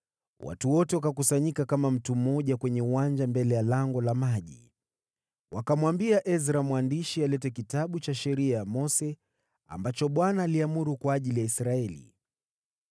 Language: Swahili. watu wote wakakusanyika kama mtu mmoja kwenye uwanja mbele ya Lango la Maji. Wakamwambia Ezra mwandishi alete Kitabu cha Sheria ya Mose, ambacho Bwana aliamuru kwa ajili ya Israeli.